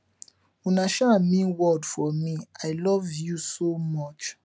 una um mean world for me i love you so much